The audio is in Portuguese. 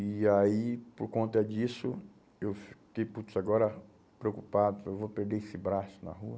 E aí, por conta disso, eu fiquei, putz, agora preocupado, eu vou perder esse braço na rua.